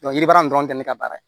yiri baara dɔrɔn tɛ ne ka baara ye